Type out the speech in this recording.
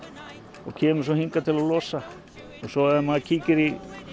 og kemur hingað til að losa og svo ef maður kíkir í